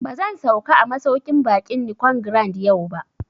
Ba zan sauka a masauƙin baƙin Nicon Grand yau ba